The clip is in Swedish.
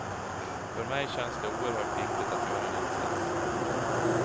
För mig känns det oerhört viktigt att göra en insats.